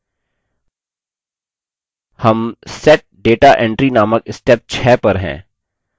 हम set data entry नामक step 6 पर हैं